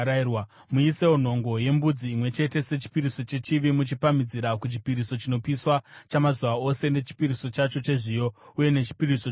Muisewo nhongo yembudzi imwe chete sechipiriso chechivi muchipamhidzira kuchipiriso chinopiswa chamazuva ose nechipiriso chacho chezviyo uye nechipiriso chokunwa.